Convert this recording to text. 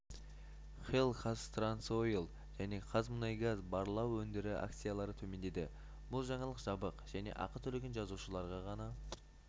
хелл қазтрансойл және қазмұнайгаз барлау өндіру акциялары төмендеді бұл жаңалық жабық және ақы төлеген жазылушыларға ғана